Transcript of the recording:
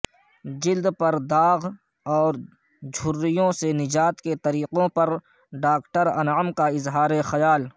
جلد پر داغ او رجھریوں سے نجاب کے طریقوں پر ڈاکٹر انعم کا اظہار خیل